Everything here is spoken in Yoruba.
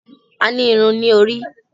A ní Irun ní orí.